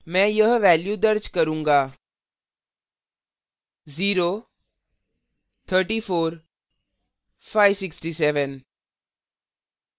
मैं यह values दर्ज करूँगा